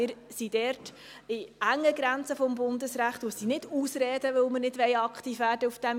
Wir sind dort in den engen Grenzen des Bundesrechts, und das sind keine Ausreden, weil wir auf diesem Gebiet nicht aktiv werden wollen.